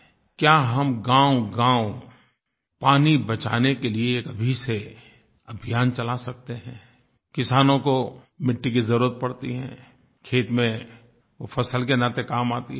क्या हम गाँवगाँव पानी बचाने के लिये एक अभी से अभियान चला सकते हैं किसानों को मिट्टी की जरुरत पड़ती है खेत में वो फसल के नाते काम आती है